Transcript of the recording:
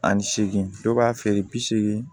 Ani seegin dɔw b'a feere bi seegin